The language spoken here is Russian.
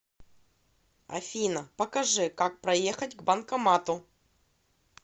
афина покажи как проехать к банкомату